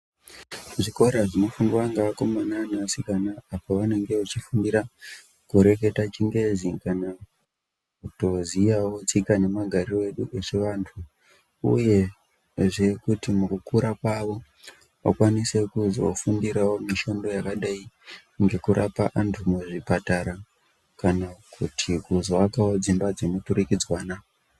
Zvikora zvinofundwa neakomana nevasikana pavanenge veifundira kureketa chingezi kana kutoziyawo tsika nemahariro edu echivantu, uyezve kuti mukukura kwavo vakwanise kuzofundirawo mishando yakadai ngekurapa antu muzvipatara kana kuti kuzoakawo dzimba dzemuturikidzanwa.